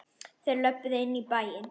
Þeir löbbuðu inn í bæinn.